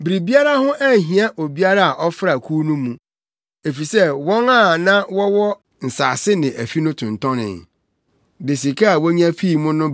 Biribiara ho anhia obiara a ɔfra kuw no mu, efisɛ wɔn a na wɔwɔ nsase ne afi no tontɔnee, de sika a wonya fii mu no